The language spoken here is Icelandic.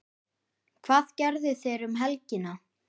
Hvað gerðu þeir um helgina?